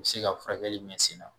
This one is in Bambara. O bi se ka furakɛli mɛn sen na